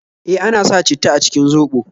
E, ana sa citta a cikin zoɓo